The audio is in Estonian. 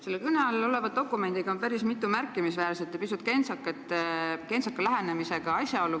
Selle kõne all oleva dokumendi puhul võib täheldada päris mitut märkimisväärset ja pisut kentsaka lähenemisega asjaolu.